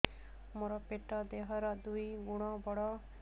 ମୋର ପେଟ ଦେହ ର ଦୁଇ ଗୁଣ ବଡ